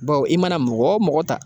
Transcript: Bawo i mana mɔgɔ o mɔgɔ ta.